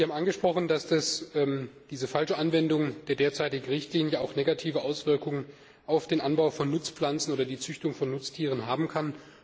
Sie haben angesprochen, dass diese falsche Anwendung der derzeitigen Richtlinie auch negative Auswirkungen auf den Anbau von Nutzpflanzen oder die Züchtung von Nutztieren haben kann.